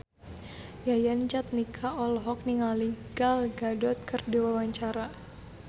Yayan Jatnika olohok ningali Gal Gadot keur diwawancara